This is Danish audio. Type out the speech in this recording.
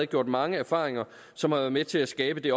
gjort mange erfaringer som har været med til at skabe det